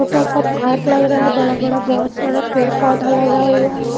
छोटा सा पार्क लग रहा है बड़ा-बड़ा बहुत सारा पेड़ पौधा लगा हुआ है।